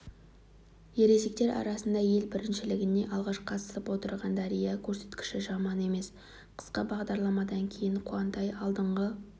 ересектер арасындағы ел біріншілігіне алғаш қатысып отырған дәрияның көрсеткіші жаман емес қысқа бағдарламадан кейін қуантай алдыңғы